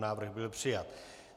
Návrh byl přijat.